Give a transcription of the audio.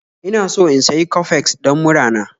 Ina so in sayi Coffex don murana.